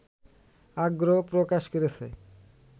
আগ্রহও প্রকাশ করেছে